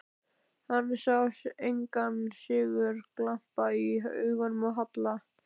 Hann sá engan sigurglampa í augunum á Halla.